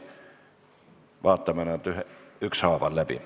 Vaatame need siiski ükshaaval läbi.